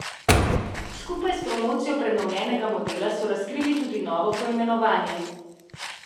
Skupaj s promocijo prenovljenega modela so razkrili tudi novo poimenovanje.